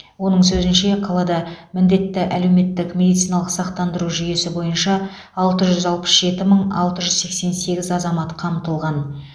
оның сөзінше қалада міндетті әлеуметтік медициналық сақтандыру жүйесі бойынша алты жүз алпыс жеті мың алты жүз сексен сегіз азамат қамтылған